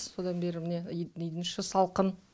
содан бері міне үйдің іші салқын